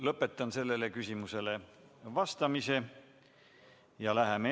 Lõpetan sellele küsimusele vastamise.